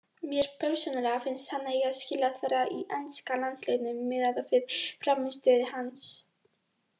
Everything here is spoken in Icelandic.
Mér persónulega finnst hann eiga skilið að vera í enska landsliðinu miðað við frammistöðu hans.